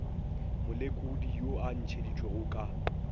molekodi yo a ntšheditšwego ka